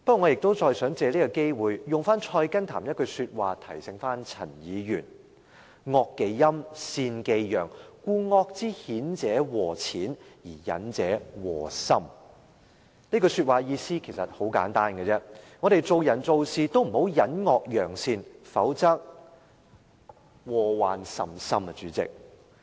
我想再藉此機會，引用《菜根譚》的另一句話提醒陳議員："惡忌陰，善忌陽，故惡之顯者禍淺，而隱者禍深"，這句話的意思很簡單，我們做人做事不應隱惡揚善，否則禍患甚深。